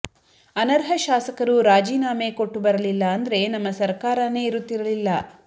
ಅನರ್ಹ ಶಾಸಕರು ರಾಜೀನಾಮೆ ಕೊಟ್ಟು ಬರಲಿಲ್ಲ ಅಂದ್ರೆ ನಮ್ಮ ಸರಕಾರನೇ ಇರುತ್ತಿರಲಿಲ್ಲ